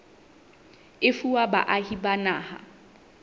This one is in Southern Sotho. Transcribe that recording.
e fuwa baahi ba naha